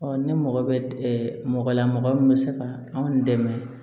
ne mɔgɔ bɛ mɔgɔ la mɔgɔ min bɛ se ka anw dɛmɛ